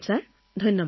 ধন্যবাদ ছাৰ